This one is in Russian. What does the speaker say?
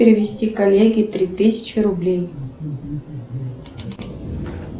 перевести коллеге три тысячи рублей